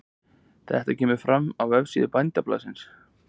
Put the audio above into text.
Þetta kemur fram á vefsíðu Bændablaðsins